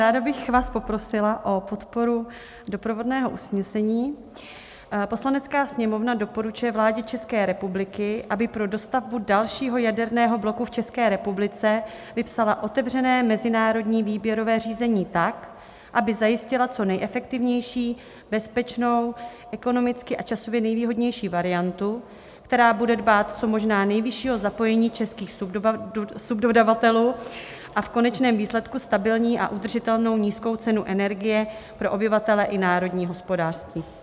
Ráda bych vás poprosila o podporu doprovodného usnesení: "Poslanecká sněmovna doporučuje vládě České republiky, aby pro dostavbu dalšího jaderného bloku v České republice vypsala otevřené mezinárodní výběrové řízení tak, aby zajistila co nejefektivnější, bezpečnou, ekonomicky a časově nejvýhodnější variantu, která bude dbát co možná nejvyššího zapojení českých subdodavatelů, a v konečném výsledku stabilní a udržitelnou nízkou cenu energie pro obyvatele i národní hospodářství."